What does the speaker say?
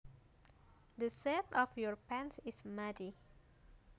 The seat of your pants is muddy